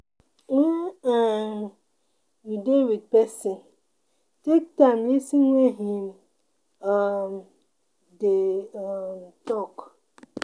when um you dey with person, take time lis ten when im um dey um talk